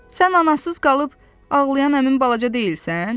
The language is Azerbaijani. Sən anasız qalıb ağlayan həmin balaca deyilsən?